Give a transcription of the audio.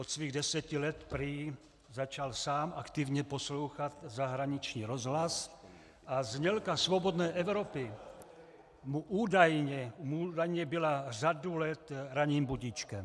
Od svých deseti let prý začal sám aktivně poslouchat zahraniční rozhlas a znělka Svobodné Evropy mu údajně byla řadu let ranním budíčkem.